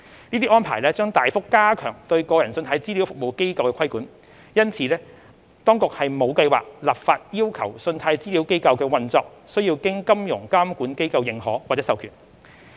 這些安排將大幅加強對個人信貸資料服務機構的規管，因此，當局沒有計劃立法要求信貸資料機構的運作須經金融監管機構認可或授權。